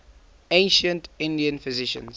ancient indian physicians